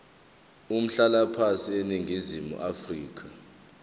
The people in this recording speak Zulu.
umhlalaphansi eningizimu afrika